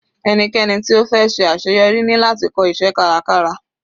Ẹnikẹ́ni tí ó fẹ́ ṣe àṣeyọrí ní láti kọ́ iṣẹ́ kárakára.